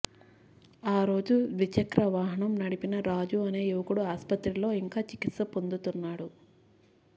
ఆరోజు ద్విచక్ర వాహనం నడిపిన రాజు అనే యువకుడు ఆస్పత్రిలో ఇంకా చికిత్స పొందుతున్నాడు